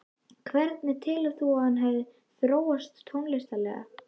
Hvernig telur þú að hann hefði þróast tónlistarlega?